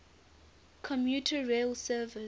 commuter rail service